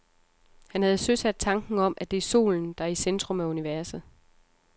Han havde søsat tanken om, at det er solen, der er i centrum af universet.